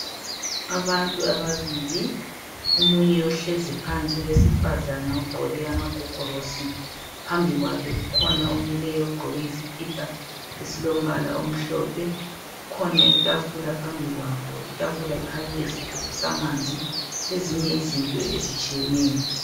Abantu ababili omunye uhlezi phansi owesifazana ugqoke amagogorosi phambi kwakhe kukhona omileyo ogqoke iskhipha esilombala omhlophe kukhona itafula phambikwabo itafula ikhanya ilesigubhu samanzi lezinye izinto ezitshiyeneyo